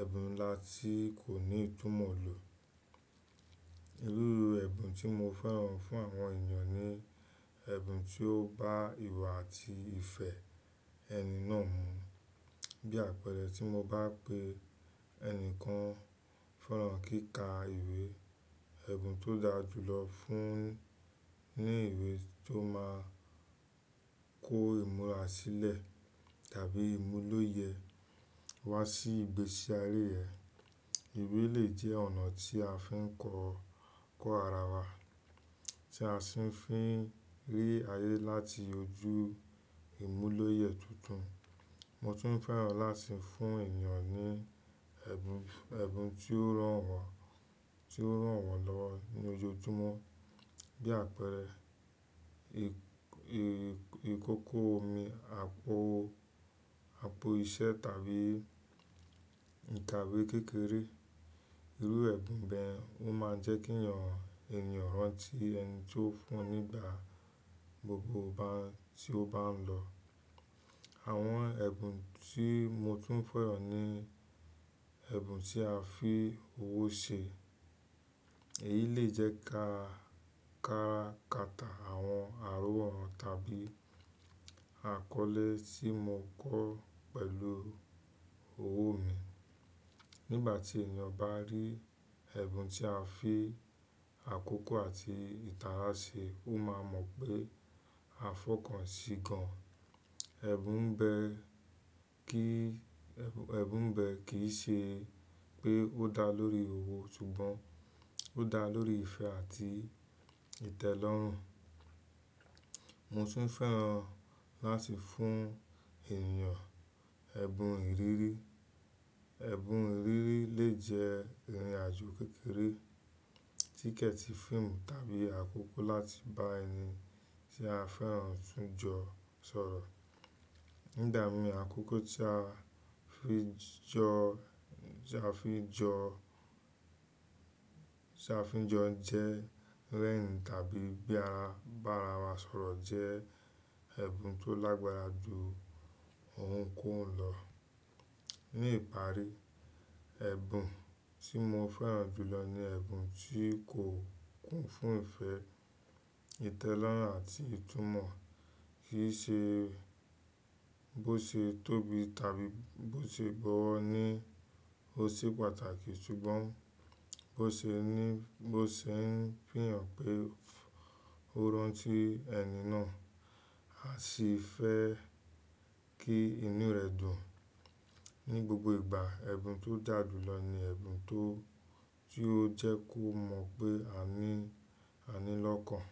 ẹ̀bùn ńlá tí kò ní ìtumọ̀ lọ. Irú ẹ̀bùn tí mo fẹ́ràn fún àwọn ènìyàn ni ẹ̀bùn tí ó bá ìwà àti ìfẹ́ ẹni náà mu. Bí àpẹẹrẹ tí mo bá pe ẹnìkan feran kíkà ìwé, ẹ̀bùn tó dáa jùlọ fún ni ìwé tó máa kó ìmúra sílẹ̀ tàbí ìmúlòyẹ̀ wá sí ìgbésí ayé rẹ. Ìwé lè jẹ́ ọ̀nà tí a fi ń kọ́, kọ́ ara wa, tí a sì ń fi rí ayé láti ojú ìmúlòyẹ̀ tuntun. Mo tún fẹ́ràn láti fún ènìyàn ní ẹ̀bùn, ẹ̀bùn tí ó rànwọ́n, tí ó rànwọ́lọwo ní ojojúmọ́. Bí àpẹẹrẹ ì, ì, ìkókó omi, àpò, àpò iṣẹ́ tàbí ìkawé kékeré. Irú ẹ̀bùn bẹ́ẹ̀ wọ́n máa jẹ́ kí èèyàn, ènìyàn rántí ẹni tí ó fún un nígbà gbogbo bá ń, tí ó bá ń lọ. Àwọn ẹ̀bùn tí mo tún fẹ́ràn ni ẹ̀bùn tí a fi owó ṣe. Èyí lè jẹ́ ka, kára kàtà àwọn àrọ́wọ́ wọn tàbí àkọlé tí mo kọ pẹ̀lú owó mi. Nígbà tí ènìyàn bá rí ẹ̀bùn tí a fi àkókò àti ìtara ṣe, ó máa mọ̀ pé a fọkàn sí gan. Ẹ̀bùn bẹ́ẹ̀ kí, ẹ̀bùn bẹ́ẹ̀ kì í ṣe pé ó dá lórí owó ṣùgbọ́n ó dá lórí ìfẹ́ àti ìtẹ́lọ́rùn. Mo tún fẹ́ràn láti fún ènìyàn ẹ́bùn ìrírí. Ẹ̀bùn ìrírí lè jẹ́ ìrìnàjò kékeré, tíkẹ̀ẹ̀tì fíìmù tàbí àkókò láti bá ẹni tí a fẹ́ràn tún jọ sọ̀rọ̀. Nígbà mìí àkókò tí a fi jọ, tí a fi jọ, tí a fi jọ jẹ́ lẹ́yìn tàbí bí a bá ra wa sọ̀rọ̀ jẹ́ ẹ̀bùn tó lágbára ju ohunkóhun lọ. Ni ìparí, ẹ̀bùn tí mo fẹ́ràn jù lọ ni ẹ̀bùn tí kò kún fún ìfẹ́, ìtẹ́lọ́rùn àti ìtumọ̀. Kì í ṣe bó ṣe tóbi tàbí bó ṣe gbọ́wọ́ ni o ṣe pàtàkì ṣùgbọ́n bó ṣe ní, bó ṣe ń fihàn pé ó rántí ẹni náà, a sì fẹ́ kí inú rẹ̀ dùn. Ni gbogbo ìgbà ẹ̀bùn tó dà jùlọ ni ẹ̀bùn tó, tí ó jẹ́ kó mọ̀ pé àní, àní lọ́kàn.